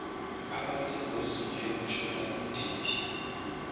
abasengozini yokutshona kudidi